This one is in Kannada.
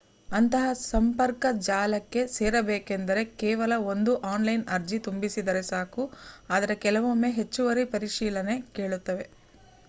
ಅಂತಹ ಸಂಪರ್ಕ ಜಾಲಕ್ಕೆ ಸೇರಬೇಕೆಂದರೆ ಕೇವಲ ಒಂದು ಆನ್ಲೈನ್ ಅರ್ಜಿ ತುಂಬಿದರೆ ಸಾಕು ಆದರೆ ಕೆಲವೊಂದು ಹೆಚ್ಚುವರಿ ಪರಿಶೀಲನೆ ಕೇಳುತ್ತವೆ